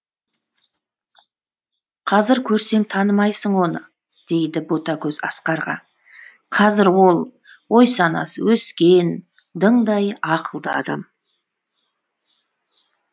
қазір көрсең танымайсың оны дейді ботагөз асқарға қазір ол ой санасы өскен дыңдай ақылды адам